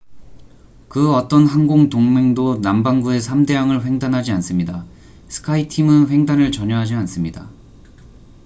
그 어떤 항공 동맹도 남반구의 3대양을 횡단하지 않습니다스카이팀skyteam은 횡단을 전혀 하지 않습니다.